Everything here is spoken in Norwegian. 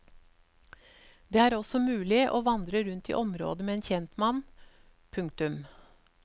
Det er også mulig å vandre rundt i området med en kjentmann. punktum